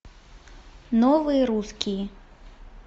новые русские